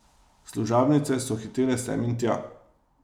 Služabnice so hitele sem in tja.